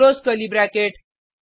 close curly bracket